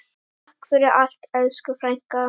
Takk fyrir allt, elsku frænka.